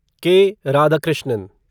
के. राधाकृष्णन